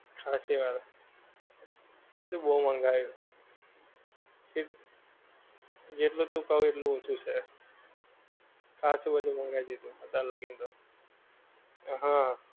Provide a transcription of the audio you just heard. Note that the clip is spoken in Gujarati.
બધું બહું મંગાયું જે જેટલું તું કહું એટલું ઓછું છે ખાશું બધું મંગાઈ દીધું તારે લગન કે